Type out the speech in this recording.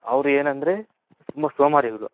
Hour ಏನಂದ್ರೆ ತುಂಬಾ ಸೋಮಾರಿಗಳು.